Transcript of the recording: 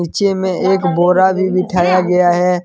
नीचे में एक बोरा भी बिठाया गया है।